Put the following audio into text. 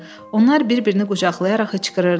Onlar bir-birini qucaqlayaraq hıçqırırdılar.